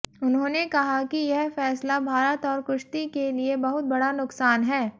उन्होंने कहा कि यह फैसला भारत और कुश्ती के लिये बहुत बड़ा नुकसान है